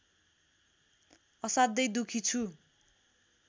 असाध्यै दुखी छु